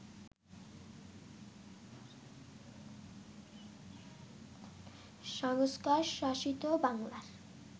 সংস্কারশাসিত বাংলার